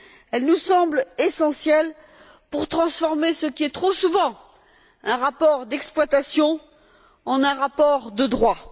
Elles nous semblent essentielles pour transformer ce qui est trop souvent un rapport d'exploitation en un rapport de droit.